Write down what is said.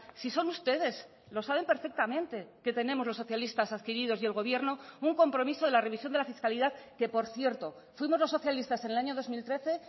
si son ustedes lo saben perfectamente que tenemos los socialistas adquiridos y el gobierno un compromiso de la revisión de la fiscalidad que por cierto fuimos los socialistas en el año dos mil trece